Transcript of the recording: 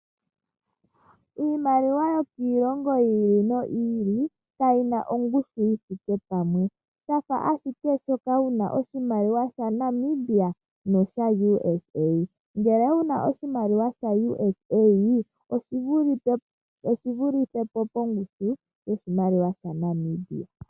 Iimaliwa yokiilongo yi ili noyi ili kayi na ongushu yi thike pamwe. Osha fa ashike sho wu na oshimaliwa shaNamibia noshaUSA. Ngele wu na oshimaliwa shaUSA oshi vulithe po pongushu yoshimaliwa shaNamibia.